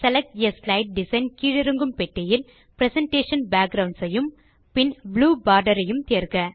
select ஆ slide design கீழிறங்கும் பெட்டியில் பிரசன்டேஷன் பேக்குரவுண்ட்ஸ் ஐயும் பின் ப்ளூ போர்டர் ஐயும் தேர்க